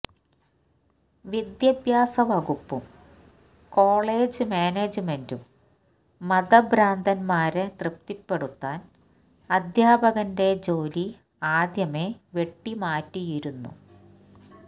വിദ്യാഭ്യാസവകുപ്പും college മാനേജ്മെന്റും മതഭ്രാന്തന്മാരെ തൃപ്തിപ്പെടുത്താന് അധ്യാപകന്റെ ജോലി ആദ്യമേ വെട്ടിമാറ്റിയിരുന്നു